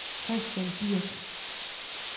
Kristian Birch